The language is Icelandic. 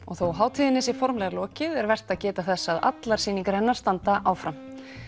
þó hátíðinni sé formlega lokið er vert að geta þess að allar sýningarnar hennar standa áfram